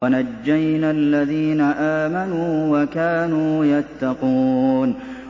وَنَجَّيْنَا الَّذِينَ آمَنُوا وَكَانُوا يَتَّقُونَ